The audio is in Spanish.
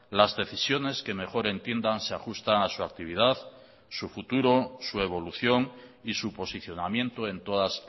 las decisiones que mejor entiendan se ajustan a su actividad su futuro su evolución y su posicionamiento en todas